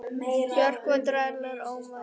Bjarki, hvað dvelur Orminn langa?